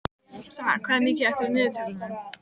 Saga, hvað er mikið eftir af niðurteljaranum?